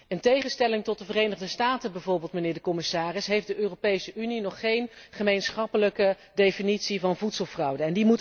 In tegenstelling tot de Verenigde Staten bijvoorbeeld, meneer de commissaris, heeft de Europese Unie nog geen gemeenschappelijke definitie van voedselfraude.